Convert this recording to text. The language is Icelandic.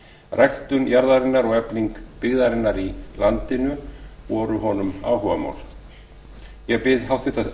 ræktun jarðarinnar og efling byggðarinnar í landinu voru honum áhugamál ég bið háttvirta